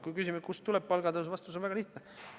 Kui küsimus on, kust tuleb palgatõus, siis vastus on väga lihtne.